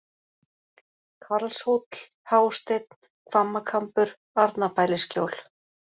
Karlshóll, Hásteinn, Hvammakambur, Arnarbælisskjól